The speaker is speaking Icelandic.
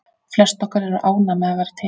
Flest okkar eru ánægð með að vera til.